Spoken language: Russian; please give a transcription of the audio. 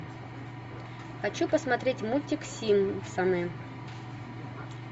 хочу посмотреть мультик симпсоны